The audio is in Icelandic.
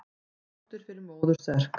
Dóttir fer í móður serk.